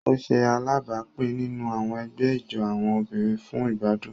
O ṣe alábápin nínú àwọn ègbé ijó àwọn obìnrin fún igbadun.